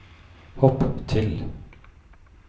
hopp til